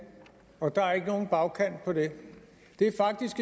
og der er ikke nogen bagkant på det det er faktisk